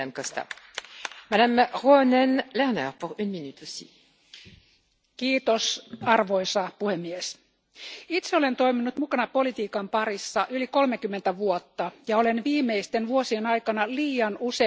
Arvoisa puhemies, itse olen toiminut mukana politiikan parissa yli 30 vuotta ja olen viimeisten vuosien aikana liian usein joutunut toteamaan, että uutinen, joka on tehty jostakin tilaisuudesta tai tapahtumasta,